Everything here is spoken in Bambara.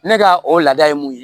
Ne ka o laada ye mun ye